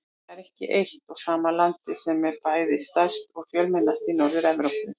Það er ekki eitt og sama landið sem er bæði stærst og fjölmennast í Norður-Evrópu.